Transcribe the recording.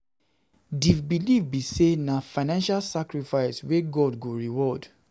um Di believe be say na financial sacrifice wey God go reward